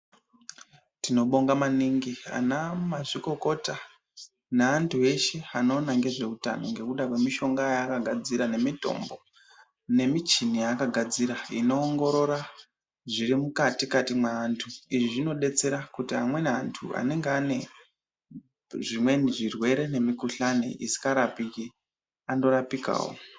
Tinobonga maningi ana mazvikokota neantu eshe anoona nge zveutano ngekuda kwemi shonga yakagadzira nemitombo nemichini yakagadzira ino ongorora zviri mukati-kati mweantu. Izvi zvinodetsera kuti amweni antu ane anenge ane zvimwenj zvirwere nemikhuhlani isi ngarapiki ando rapikawo.